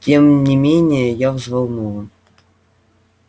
тем не менее я взволнован